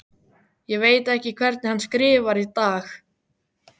Ég veit ekki hvernig hann skrifar í dag.